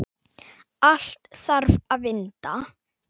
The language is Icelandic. Allt þarf að vinda.